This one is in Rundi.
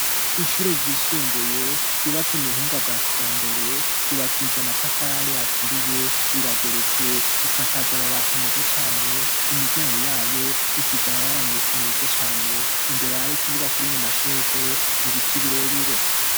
Ishure ryisumbuye ryubatse mu buhinga bwa kija mbere yubakije amatafali aturiye rirageretse isakaje amabati meza cane imiryango yayo isize amabara meza cane imbere hari ikibuga kirimwe amashurwe ibiti birebire.